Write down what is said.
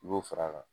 I b'o fara a kan